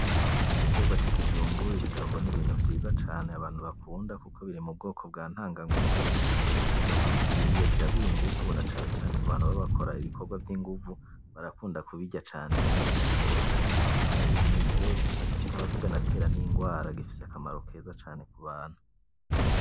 igiterwa cikijumbu ibijumbu n ibintu vyiza cane abantu bakunda kuko biri mubwoko bwa ntanganguvu kandi ikijumbu iyo ukiriye kiraguha ingumvu nacane cane kubantu baba bakora ibikorwa vyingumvu barakunda kubirya cane kandi kirasosa gifise isukari yumwimerere kikaba kitanatera nirwara gifise akamaro keza cane kubantu